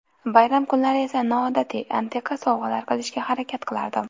Bayram kunlari esa noodatiy, antiqa sovg‘alar qilishga harakat qilardim.